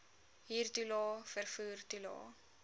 huurtoelae vervoer toelae